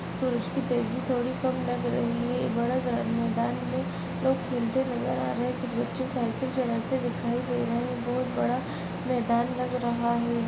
बहुत बड़ा मैदान है लोग खेलते हुए नजर आ रहे हैं कुछ बच्चे साइकिल चलाते हुए दिखाई दे रहे हैं बहुत बड़ा मैदान लग रहा है।